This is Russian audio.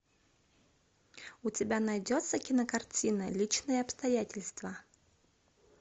у тебя найдется кинокартина личные обстоятельства